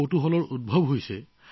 এটা ডাঙৰ প্ৰশ্নৰ অৱতাৰণা হৈছে